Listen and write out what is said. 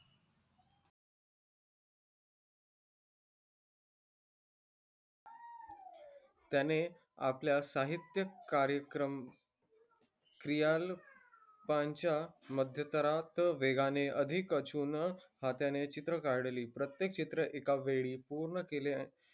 त्याने आपल्या साहित्य कार्यक्रम मध्यंतरात वेगाने अधिक अचवल हाताने चित्र काढली प्रत्येक चित्र एका वेळी पूर्ण केले